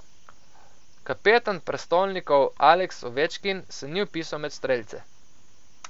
Kapetan prestolnikov Aleks Ovečkin se ni vpisal med strelce.